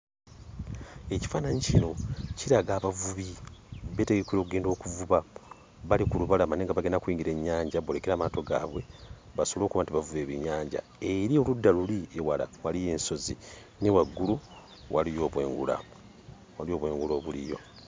Ekifaananyi kino kiraga abavubi beetegekera oggenda okuvuba, bali ku lubalama naye nga bagenda kuyingira ennyanja boolekere amaato gaabwe basobole okuba nti bavuba ebyennyanja. Eri oludda luli ewala waliyo ensozi, ne waggulu waliyo obwengula, waliyo obwengula obuliyo.